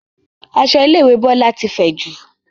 Aṣọ ilé ìwé Bọlá ti fẹ̀jù